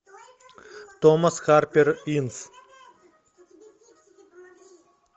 томас харпер инс